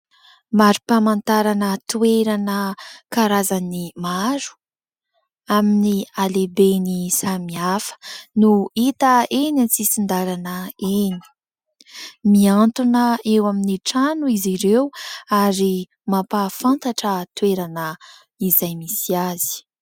Marim-pamantarana toerana karazany maro amin'ny halehibeny samihafa no hita eny an-tsisin-dalana eny. Miantona eo amin'ny trano izy ireo ary mampahafantatra toerana izay misy azy.